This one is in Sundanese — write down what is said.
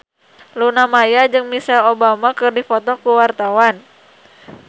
Luna Maya jeung Michelle Obama keur dipoto ku wartawan